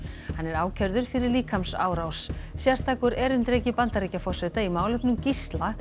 hann er ákærður fyrir líkamsárás sérstakur erindreki Bandaríkjaforseta í málefnum